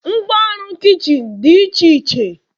Ngwa ọrụ kichin dị iche iche